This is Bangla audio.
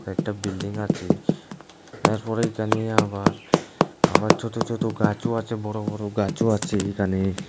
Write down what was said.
একটা বিল্ডিং আছে এরপরে এইখানে আবার আবার ছোতো ছোতো গাছও আছে বড়ো বড়ো গাছও আছে এইখানে।